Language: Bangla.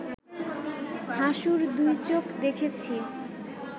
হাসুর দুই চোখ দেখেছি